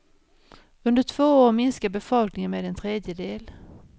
Under två år minskar befolkningen med en tredjedel.